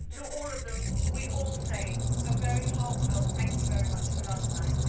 To all of them we all say a very heartfelt, thank you very much for last night.